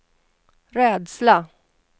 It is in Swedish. rädsla